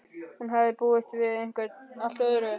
Hún hafði búist við einhverju allt öðru.